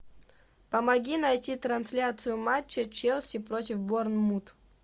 помоги найти трансляцию матча челси против борнмут